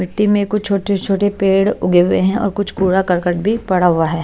मिट्टी में कुछ छोटे छोटे पेड़ उगे हुए हैं और कुछ कूड़ा करकट भी पड़ा हुआ है।